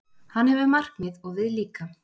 Hann hefur markmið, og við líka.